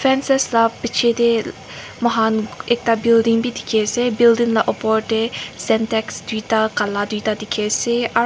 fences la piche te moi khan ekta building bi dikhi ase building la opor te syntax duita kala duita dikhi ase ar--